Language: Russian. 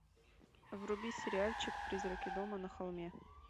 вруби сериальчик призраки дома на холме